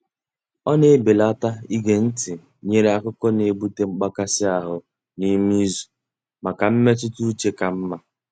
Ọ na-ebelata ige ntị nyere akụkọ n'ebute mgbakasị ahụ n'ime izu maka mmetụta uche ka mma.